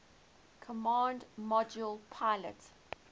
command module pilot